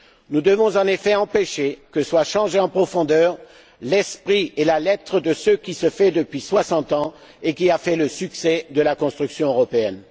Nous devons, en effet, empêcher que soient changés en profondeur l'esprit et la lettre de ce qui se fait depuis 60 ans et qui a fait le succès de la construction européenne.